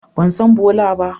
Ban san Bola ba.